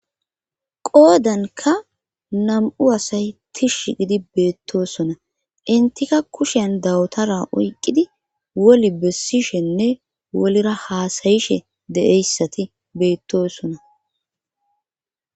qoodanka nam7u asay tishsh gidi beettosona intika kushen dawutara oyqqidi woli bessishenne wolira haasayishe deeyssati beettosona